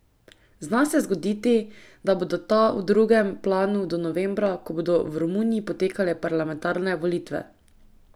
Zna se zgoditi, da bodo ta v drugem planu do novembra, ko bodo v Romuniji potekale parlamentarne volitve.